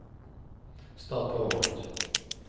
start PowerPoint